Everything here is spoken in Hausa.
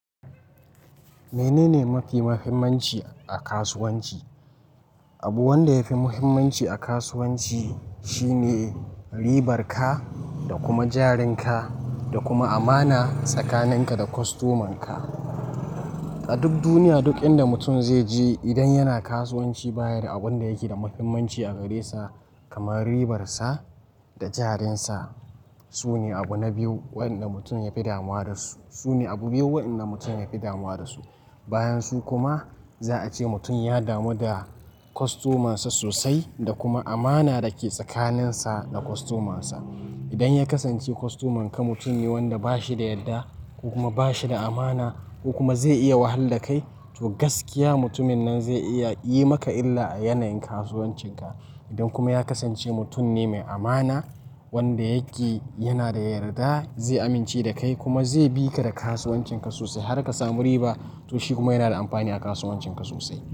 Menene mafi muhimmanci a kasuwanci? Abu wanda yafi muhimmanci a kasuwanci shine ribar ka da kuma jarin ka da kuma amana tsakanin ka da kostoman ka. A duk duniya duk inda mutum zai je idan yana kasuwanci baya da abun da yake da muhimmanci a gare sa kamar ribar sa da jarin sa. Sune abu na biyu wanda mutum yafi damuwa da su. Sune abu biyu wanda mutum yafi damuwa da su. Bayan su kuma za a ce mutum ya damu da kostoman sa sosai da kuma amana da ke tsakanin sa da kostoman sa. Idan ya kasance kostoman ka mutum ne wanda ba shi da yarda ko kuma ba shi da amana ko kuma zai iya wahalar kai to gaskiya mutumin nan zai iya yi maka illa a yanayin kasuwancin ka. Idan kuma ya kasance mutum ne mai amana wanda yake yana da yarda zai amince da kai kuma zai bi ka da kasuwancin ka sosai har ka samu riba to shi kuma yana da amfani a kasuwancin ka sosai.